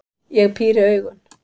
Ég píri augun.